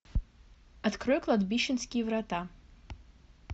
открой кладбищенские врата